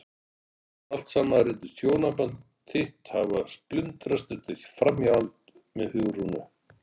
Ofan á allt saman reynist hjónaband þitt hafa splundrast eftir framhjáhald með Hugrúnu!